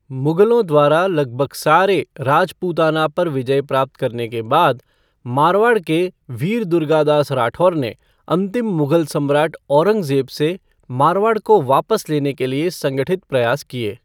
मुगलों द्वारा लगभग सारे राजपूताना पर विजय प्राप्त करने के बाद, मारवाड़ के वीर दुर्गादास राठौर ने अंतिम मुगल सम्राट औरंगज़ेब से मारवाड़ को वापस लेने के लिए संगठित प्रयास किए।